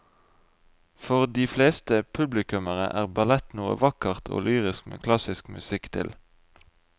For de fleste publikummere er ballett noe vakkert og lyrisk med klassisk musikk til.